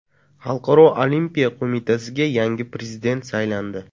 Xalqaro Olimpiya Qo‘mitasiga yangi prezident saylandi.